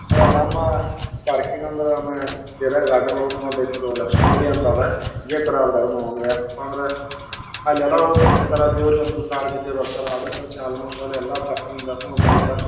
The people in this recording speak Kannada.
ಅದರ ನಮ್ಮ ಪಾರ್ಕಿಂಗ್ ಅಂದ್ರ ನಮ್ಮ ಏರಿಯಾ ಗಾರ್ಡನ್ ಒಳಗನು ಒಂದು ಲಕ್ಮಿ ಗುಡಿ ಅಂತ ಅದ ಇದೇತರ ಅದಾರಿ ಅದ್ನು ಯಾಕಪ್ಪಾ ಅಂದ್ರ ಅಲ್ಲಿ ಎಲ್ಲಾ ಹೋಗ್ ಕೂತಿರ್ತಾರ ದೇವರಿಗೆ ಕಾಲ್ ಬಿದ್ದು ಬರ್ತಾರ ಅದಕನ್ಸಿ ಆಲ್ಮೋಸ್ಟ್ ಎಲ್ಲ ಪರ್ಕಿಂಕಿಗ್ ದಾಗು --